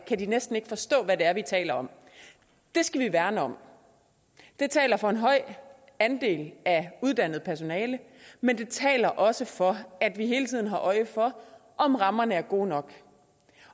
de næsten ikke forstå hvad det er vi taler om det skal vi værne om det taler for en høj andel af uddannet personale men det taler også for at vi hele tiden har øje for om rammerne er gode nok